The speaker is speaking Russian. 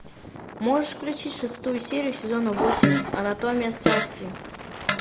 можешь включить шестую серию сезона восемь анатомия страсти